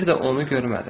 Mən bir də onu görmədim.